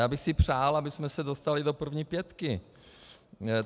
Já bych si přál, abychom se dostali do první pětky.